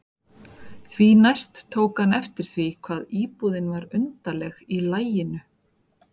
Því næst tók hann eftir því hvað íbúðin var undarleg í laginu.